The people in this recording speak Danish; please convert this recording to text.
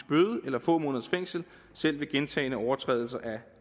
bøde eller få måneders fængsel selv ved gentagne overtrædelser af